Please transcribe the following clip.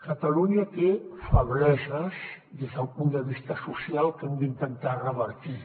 catalunya té febleses des del punt de vista social que hem d’intentar revertir